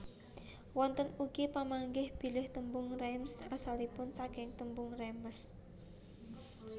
Wonten ugi pamanggih bilih tembung Reims asalipun saking tembung Rèmes